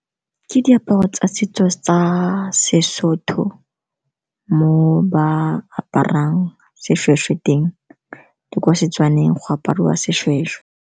Ke diaparo tsa setso sa seSotho mo ba aparang seshweshwe teng, ke kwa Setswaneng go apariwa seshweshwe.